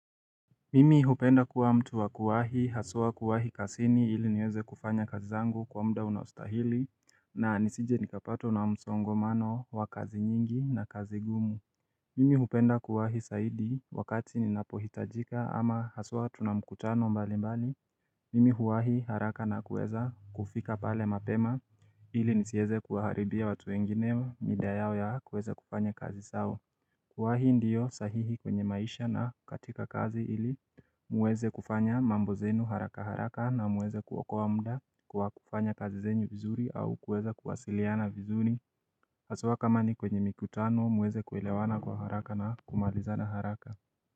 Mimi hupenda kuwa mtu wa kuwahi haswa kuwahi kasini ili niweze kufanya kazi zangu kwa mda unaostahili na nisije nikapatwa na msongomano wa kazi nyingi na kazi ngumu Mimi hupenda kuwahi saidi wakati ninapohitajika ama haswa tuna mkutano mbali mbali Mimi huwahi haraka na kuweza kufika pale mapema ili nisieze kuwaharibia watu wengine mida yao ya kuweza kufanya kazi sao kuwa hii ndiyo sahihi kwenye maisha na katika kazi ili muweze kufanya mambo zenu haraka haraka na muweze kuokoa mda kwa kufanya kazi zenu vizuri au kuweza kuwasiliana vizuri Haswa kama ni kwenye mikutano muweze kuelewana kwa haraka na kumalizana haraka.